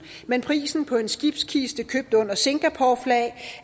men prisen på en skibskiste købt under singaporeflag